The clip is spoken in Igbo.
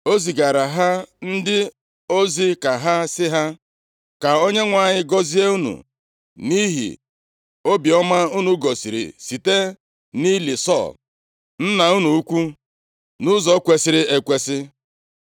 o zigaara ha ndị ozi ka ha sị ha, “Ka Onyenwe anyị gọzie unu nʼihi obiọma unu gosiri site nʼili Sọl, nna unu ukwu, nʼụzọ kwesiri ekwesi.